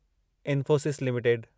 Infosys limited